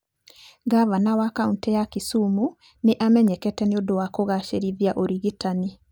Ngavana wa kaũntĩ ya Kisumu nĩ amenyekete nĩ ũndũ wa kugacirithia ũrigitani.